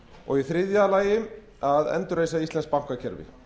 og í þriðja lagi að endurreisa íslenskt bankakerfi